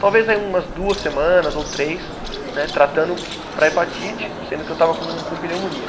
Talvez aí umas duas semanas ou três, né tratando para hepatite, sendo que eu estava com com pneumonia.